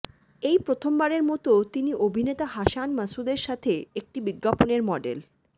এই প্রথমবারের মতো তিনি অভিনেতা হাসান মাসুদের সাথে একটি বিজ্ঞাপনের মডেল